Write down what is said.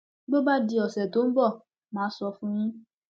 bó bá di ọsẹ tó ń bọ mà á sọ fún yín